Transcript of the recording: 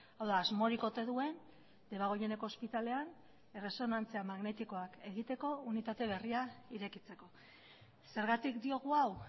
hau da asmorik ote duen debagoieneko ospitalean erresonantzia magnetikoak egiteko unitate berria irekitzeko zergatik diogu hau